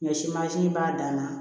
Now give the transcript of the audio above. Ɲɔ si b'a dan na